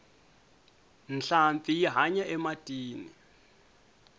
nhlampfi yi hanya ematini